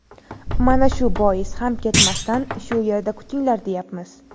Mana shu bois ham ketmasdan shu yerda kutinglar, deyapmiz.